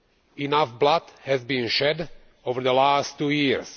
Enough blood has been shed over the last two years.